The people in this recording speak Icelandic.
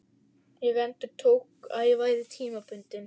Ég endurtók, að ég væri tímabundinn.